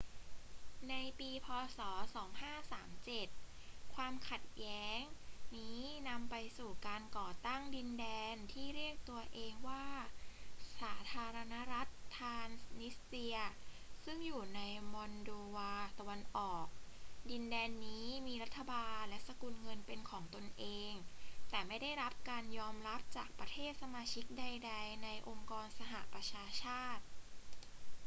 ในปี พ. ศ. 2537 ความขัดแย้งนี้นำไปสู่การก่อตั้งดินแดนที่เรียกตัวเองว่าสาธารณรัฐทรานส์นิสเตรีย ซึ่งตั้งอยู่ในมอลโดวาตะวันออก ดินแดนนี้มีรัฐบาลและสกุลเงินเป็นของตนเอง แต่ไม่ได้รับการยอมรับจากประเทศสมาชิกใดๆ ในองค์กรสหประชาชาติ